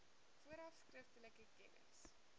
vooraf skriftelik kennis